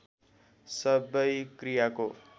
सबै क्रियाको